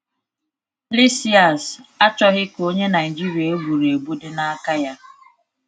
Lysias achọghị ka onye Naịjirịa egburuegbu dị na aka ya.